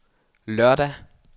lørdag